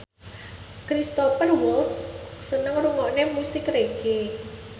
Cristhoper Waltz seneng ngrungokne musik reggae